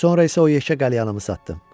Sonra isə o yekə qəlyanımı satdım.